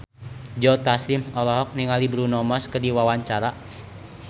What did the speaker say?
Joe Taslim olohok ningali Bruno Mars keur diwawancara